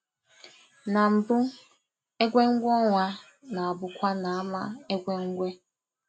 Na mbụ̀, egwè̩mgwè̩ ọnwa na-abụkwa n’ámà egwè̩mgwè̩